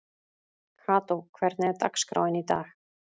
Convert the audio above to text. Kató, hvernig er dagskráin í dag?